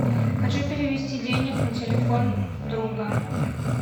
хочу перевести денег на телефон друга